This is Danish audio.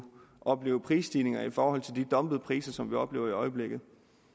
opleve prisstigninger i forhold til de dumpede priser som vi oplever i øjeblikket